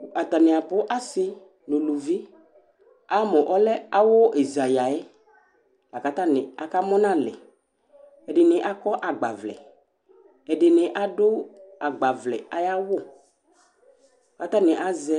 kʋ atanɩ abʋ, asɩ nʋ uluvi Ama mʋ ɔlɛ awʋ ɛza yǝ yɛ la kʋ atanɩ akamʋ nʋ alɛ Ɛsɩnɩ akɔ agbavlɛ, ɛdɩnɩ adʋ agbavlɛ ayʋ awʋ kʋ atanɩ azɛ